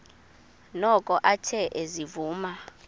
noko athe ezivuma